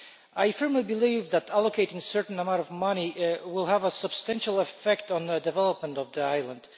I firmly believe that allocating a certain amount of money will have a substantial effect on the development of the island.